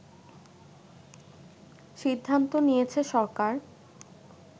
সিদ্ধান্ত নিয়েছে সরকার